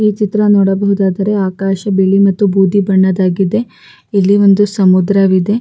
ಈ ಚಿತ್ರ ನೋಡ ಬಹುದಾದರೆ ಆಕಾಶ ಬಿಳಿ ಮತ್ತು ಬೂದಿ ಬಣ್ಣದ್ದಾಗಿದೆ ಇಲ್ಲಿ ಒಂದು ಸಮುದ್ರವಿದೆ.